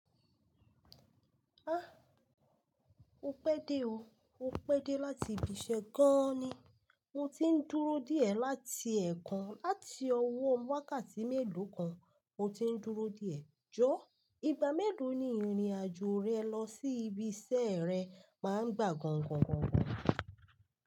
An o pẹ de o, opẹ de lati bisẹ gan ni mo ti ń dúró diẹ láti ẹ̀ẹ̀kan láti ọwọ́ wákàtí mélòó kan, mo ti ń dúró díẹ̀. Jọ̀ọ́, ìgbà mélòó ni ìrìn-àjò rẹ lọ sí ibi iṣẹ́ rẹ máa ń gbà gan gan gan gan?